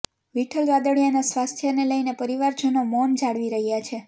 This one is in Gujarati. વિઠ્ઠલ રાદડીયાના સ્વાસ્થ્યને લઈને પરિવારજનો મૌન જાળવી રહ્યાં છે